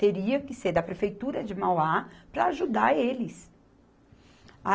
Teria que ser da Prefeitura de Mauá para ajudar eles.